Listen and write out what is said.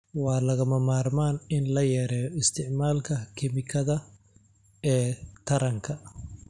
Waa lagama maarmaan in la yareeyo isticmaalka kiimikada ee taranka.